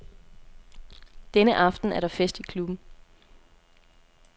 Denne aften er der fest i klubben.